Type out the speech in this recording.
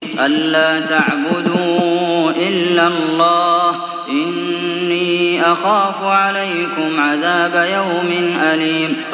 أَن لَّا تَعْبُدُوا إِلَّا اللَّهَ ۖ إِنِّي أَخَافُ عَلَيْكُمْ عَذَابَ يَوْمٍ أَلِيمٍ